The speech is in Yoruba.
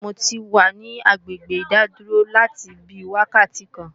Mo ti wà ní agbègbè ìdádúró láti bí wákàtí kan